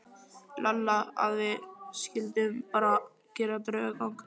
Lalla að við skyldum bara gera draugagang.